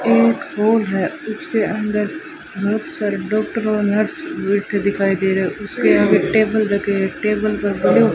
एक हॉल है उसके अंदर बहोत सारे डॉक्टर और नर्स बैठे दिखाई दे रहे उसके आगे टेबल रखे टेबल पर बलून --